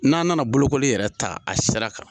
N'an nana bolokoli yɛrɛ ta a sira kan